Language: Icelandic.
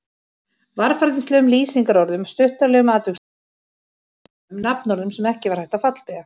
Varfærnislegum lýsingarorðum, stuttaralegum atviksorðum, lágværum upphrópunum, nafnorðum sem ekki var hægt að fallbeygja.